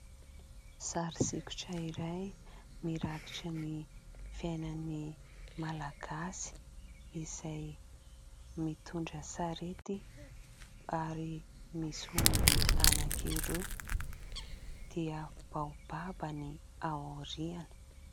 Sary sokitra iray mirakitra ny fiainan'ny Malagasy, izay mitondra sarety, ary misy omby anankiroa, dia baobab ny aoriana.